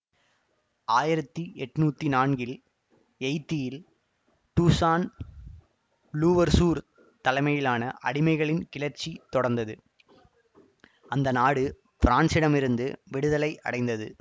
ஆயிரத்தி எட்ணூத்தி நான்கில் எயித்தியில் டூசான் லூவர்சூர் தலைமையிலான அடிமைகளின் கிளர்ச்சியை தொடர்ந்து அந்த நாடு பிரான்சிடமிருந்து விடுதலை அடைந்தது